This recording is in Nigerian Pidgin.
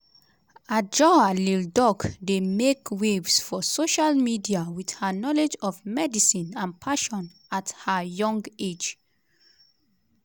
adjoa lildoc dey make waves for social media with her knowledge of medicine and passion at her young age.